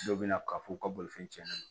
Dɔw bɛ na k'a fɔ u ka bolifɛn tiɲɛna